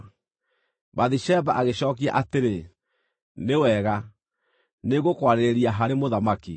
Bathisheba agĩcookia atĩrĩ, “Nĩ wega, nĩ ngũkwarĩrĩria harĩ mũthamaki.”